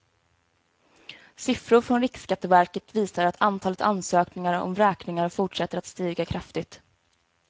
Siffror från riksskatteverket visar att antalet ansökningar om vräkningar fortsätter att stiga kraftigt.